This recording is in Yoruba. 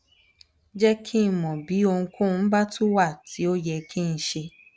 jẹ kí n mọ bí ohunkóhun bá tún wà tí ó yẹ kí n ṣe